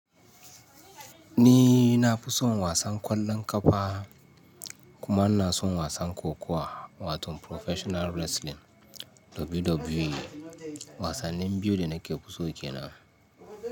Ni na fi son wasan ƙwallon ƙafa kuma ina son wasan kokuwa, wato Professional Wrestling, WWE. Wasannin biyu da nake fi so ke nan.